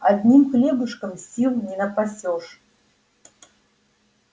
одним хлебушком сил не напасёшь